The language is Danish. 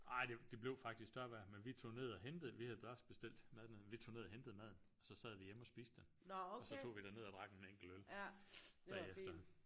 Ej det det blev faktisk tørvejr men vi tog ned og hentede vi havde også bestilt mad dernede men vi tog ned og hentede maden og så sad vi hjemme og spiste den og så tog vi den ned og drak en enkelt øl bagefter